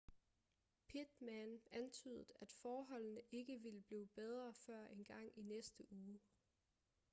pittman antydede at forholdene ikke ville blive bedre før engang i næste uge